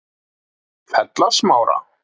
Fellasmára